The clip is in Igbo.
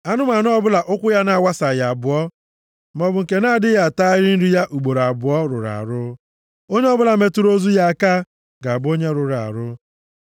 “ ‘Anụmanụ ọbụla ụkwụ ya na-awasaghị abụọ, maọbụ nke na-adịghị atagharị nri ya ugboro abụọ, rụrụ arụ. Onye ọbụla metụrụ ozu ya aka ga-abụ onye rụrụ arụ.